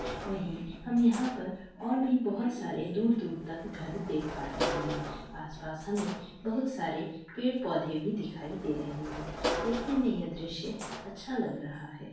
वही हम यहाँ पर और भी बहुत सारे दूर-दूर तक घर देख पा रहे है आस-पास हमें बहुत सारे पेड़ पौधे भी दिखाई दे रहे है देखने में यह दृश्य अच्छा लग रहा है।